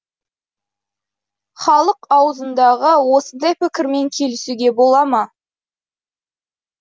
халық аузындағы осындай пікірмен келісуге бола ма